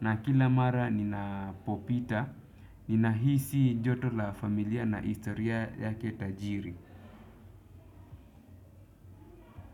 na kila mara ninapopita, ninahisi joto la familia na historia yake tajiri.